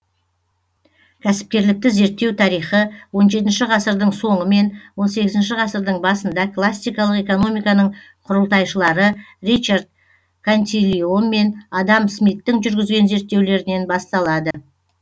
кәсіпкерлікті зерттеу тарихы он жетінші ғасырдың соңы мен он сегізінші ғасырдың басында классикалық экономиканың құрылтайшылары ричард кантилион мен адам смиттің жүргізген зерттеулерінен басталады